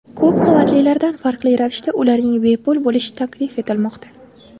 Ko‘p qavatlilardan farqli ravishda, ularning bepul bo‘lishi taklif etilmoqda.